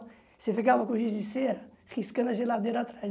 Você ficava com o giz de cera, riscando a geladeira atrás.